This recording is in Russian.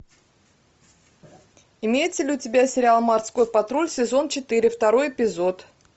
имеется ли у тебя сериал морской патруль сезон четыре второй эпизод